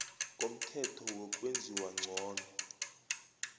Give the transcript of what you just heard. komthetho wokwenziwa ngcono